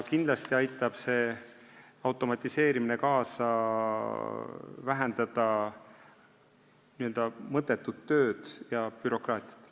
Kindlasti aitab see automatiseerimine vähendada mõttetut tööd ja bürokraatiat.